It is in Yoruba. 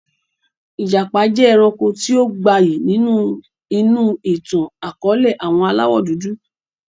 Ìjàpá jẹ́ ẹranko tí ó gbayyi ni inú ìtàn akọ̀ọ̀lẹ àwọn aláwọ dúdú